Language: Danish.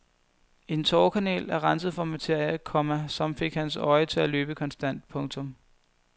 En tårekanal er renset for materie, komma som fik hans øje til at løbe konstant. punktum